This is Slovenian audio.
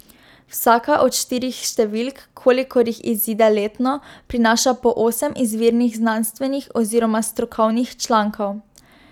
Vsaka od štirih številk, kolikor jih izide letno, prinaša po osem izvirnih znanstvenih oziroma strokovnih člankov.